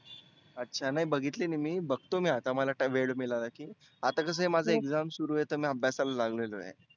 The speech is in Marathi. आच्छा नाही बघितली नाही मी बघतो आता मी मला वेळ मीळाला की. आता कसं आहे माझ exam सुरु आहे तर मी अभ्यासला लागलेलो आहे.